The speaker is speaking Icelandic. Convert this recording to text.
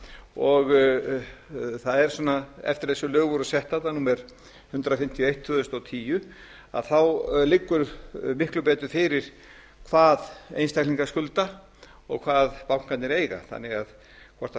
og það er svona eftir að þessi lög voru setta þarna númer hundrað fimmtíu og eitt tvö þúsund og tíu að þá liggur miklu betur fyrir hvað einstaklingar skulda og hvað bankarnir eiga þannig að hvort